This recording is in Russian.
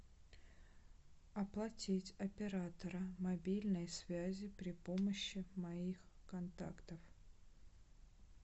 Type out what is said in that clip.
оплатить оператора мобильной связи при помощи моих контактов